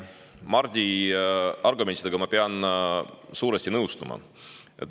Mardi argumentidega ma pean suuresti nõustuma.